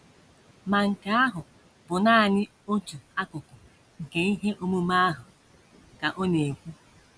“ Ma nke ahụ bụ nanị otu akụkụ nke ihe omume ahụ, ” ka ọ na - ekwu.